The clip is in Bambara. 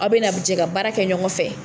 Aw be na jɛ ka baara kɛ ɲɔgɔn fɛ.